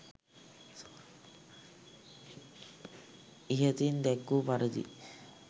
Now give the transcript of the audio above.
ඉහතින් දැක්වූ පරිදි